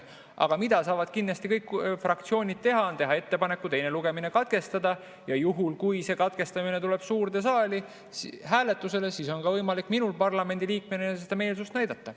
Aga mida saavad kindlasti kõik fraktsioonid teha, on teha ettepanek teine lugemine katkestada, ja juhul kui see katkestamine tuleb suurde saali hääletusele, siis on võimalik minul parlamendi liikmena oma meelsust näidata.